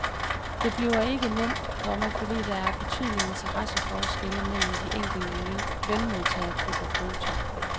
Det bliver ikke nemt, komma fordi der er betydelige interesseforskelle mellem de enkelte lønmodtagergrupper. punktum